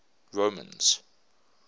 romans